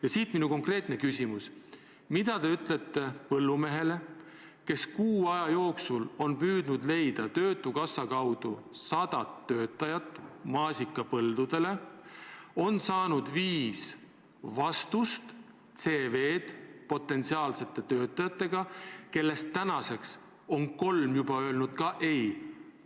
Ja siit minu konkreetne küsimus: mida te ütlete põllumehele, kes kuu aja jooksul on püüdnud leida töötukassa kaudu sadat töötajat maasikapõldudele, ja on saanud viis vastust, viis CV-d potentsiaalsetelt töötajatelt, kellest tänaseks on kolm juba "ei" öelnud?